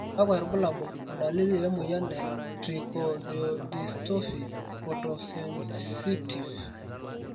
kakwa irbulabol o dalili emoyian e Trichothiodystophy Photosensitive?